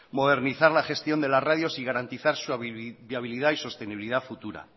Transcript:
modernizar la gestión de las radios y garantizar su habilidad y sostenibilidad futura